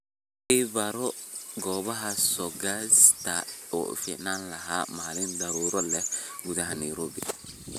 i baro goobaha soo-gaadhista ee u fiicnaan lahaa maalin daruuro leh gudaha nairobi